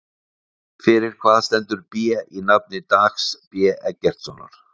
Fyrir hvað stendur B í nafni Dags B Eggertssonar?